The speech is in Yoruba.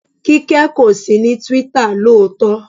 Kíkẹ́ kò sí ní Twitter lóòótọ́.